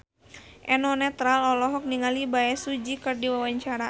Eno Netral olohok ningali Bae Su Ji keur diwawancara